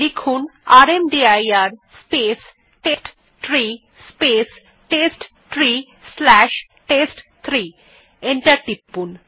command prompt এ rmdir space test tree space test tree slash টেস্ট3 লিখে এন্টার টিপুন